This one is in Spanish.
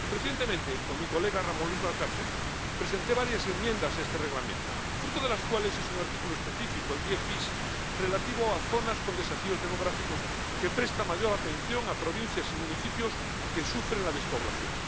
Recientemente, con mi colega Ramón Luis Valcárcel, presenté varias enmiendas a este Reglamento, fruto de las cuales es un artículo específico, el 10 bis, relativo a zonas con desafíos demográficos, que presta mayor atención a provincias y municipios que sufren la despoblación.